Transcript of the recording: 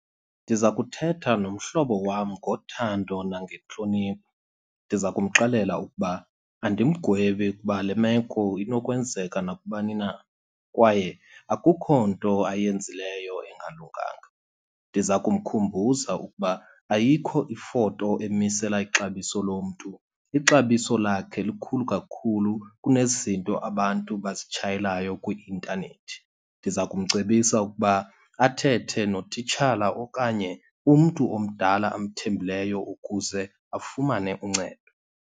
Ndiza kuthetha nomhlobo wam ngothando nangentlonipho. Ndiza kumxelela ukuba andimgwebi kuba le meko inokwenzeka nakubani na kwaye akukho nto ayenzileyo engalunganga. Ndiza kumkhumbuza ukuba ayikho ifoto emisela ixabiso lomntu, ixabiso lakhe likhulu kakhulu kunezinto abantu bazitshayelayo kwi-intanethi. Ndiza kumcebisa ukuba athethe notitshala okanye umntu omdala amthembileyo ukuze afumane uncedo.